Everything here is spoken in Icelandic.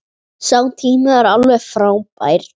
Sá tími var alveg frábær.